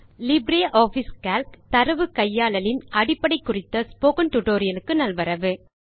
LibreOffice Calc - தரவு கையாளலின் அடிப்படை குறித்த ஸ்போக்கன் டியூட்டோரியல் க்கு நல்வரவு